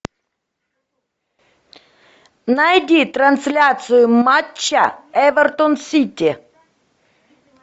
найди трансляцию матча эвертон сити